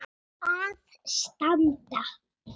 að standa.